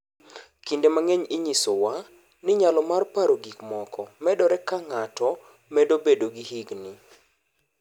Kinde mang’eny, inyisowa ni nyalo mar paro gik moko medore ka ng’ato medo bedo gi higni.